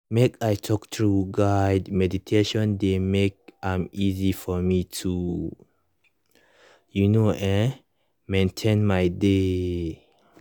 make i talk true guided meditation dey make am easy for me toyou know[um]maintain my dey